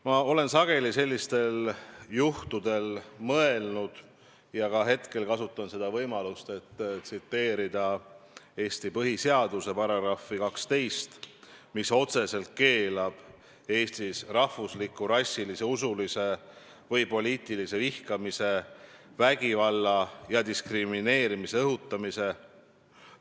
Ma olen sageli sellistel juhtudel mõelnud põhiseadusele ja ka hetkel kasutan võimalust, et tsiteerida Eesti põhiseaduse § 12, mis otseselt keelab Eestis rahvusliku, rassilise, usulise või poliitilise vihkamise, vägivalla ja diskrimineerimise õhutamise.